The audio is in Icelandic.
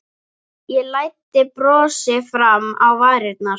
Ég læddi brosi fram á varirnar.